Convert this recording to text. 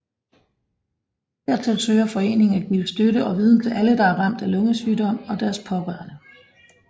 Dertil søger foreningen at give støtte og viden til alle der er ramt af lungesygdom og deres pårørende